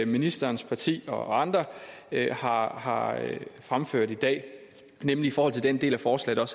ministerens parti og andre har har fremført i dag nemlig i forhold til den del af forslaget